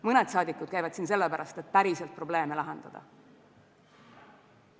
Mõned käivad siin sellepärast, et päriselt probleeme lahendada.